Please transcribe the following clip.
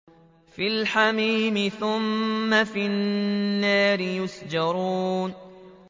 فِي الْحَمِيمِ ثُمَّ فِي النَّارِ يُسْجَرُونَ